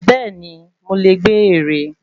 Bẹ́ẹ̀ni, mo lè gbé ère.